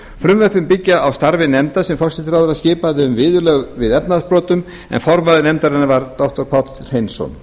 frumvörp sem byggjast á starfi nefndar sem forsætisráðherra skipaði um viðurlög við efnahagsbrotum en formaður nefndarinnar var doktor páll hreinsson